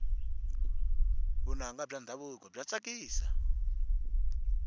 vunanga bya ndhavuko bya tsakisa